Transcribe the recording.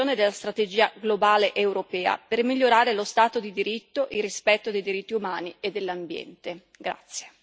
Sostengo infine l'implementazione della strategia globale europea per migliorare lo stato di diritto, il rispetto dei diritti umani e dell'ambiente.